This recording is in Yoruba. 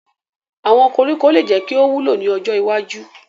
Awọn koriko le jẹ ki o wulo ni ojo iwaju